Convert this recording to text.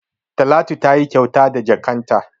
Talatu tayi kyauta da jakkan ta